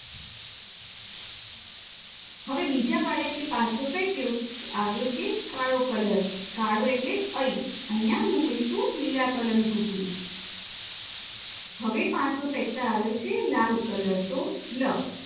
હવે બીજા બાળકે પાસો ફેક્યો તો આવ્યો છે કાળો કલર કાળો એટલે ઐ અહિયાં મૂકીશું લીલા કલરની કૂકડી